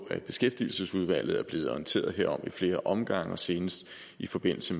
at beskæftigelsesudvalget er blevet orienteret om i flere omgange og senest i forbindelse